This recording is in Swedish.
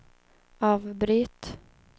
avbryt